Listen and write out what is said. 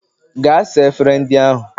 Gaa saa efere ndị ahụ!